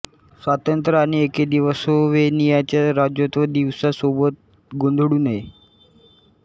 स्वातंत्र्य आणि ऐक्य दिवस स्लोव्हेनियाच्या राज्यत्व दिवसा सोबत गोंधळू नये